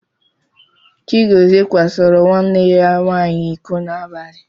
Chigọzie kwasoro nwanne ya nwaanyị iko n'abalị.